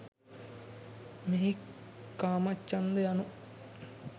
මෙහි කාමච්ඡන්ද යනු